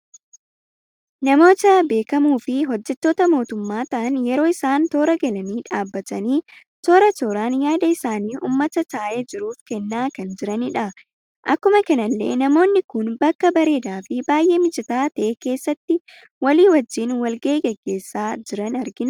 Namoota beekamoo fi hojjettoota mootumma ta'an yeroo isaan toora galanii dhaabbatani toora, tooraan yaada isaani uummata taa'ee jiruf kenna kan jiranidha. Akkuma kanallee namoonni kun bakka bareeda fi baay'ee mijata ta'aa keessatti walii wajjin wal-gahii geggeessa jiran argina.